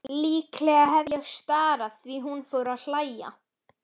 Líklega hef ég starað því hún fór að hlæja.